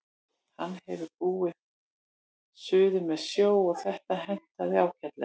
Hann hefur búið suður með sjó og þetta hentaði ágætlega.